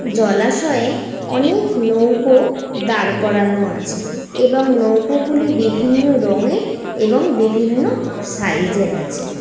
জলাশয়ে অনেক নৌকো দাঁড় করানো আছে। এবং নৌকো গুলি বিভিন্ন রঙের এবং বিভিন্ন সাইজ এর আছে।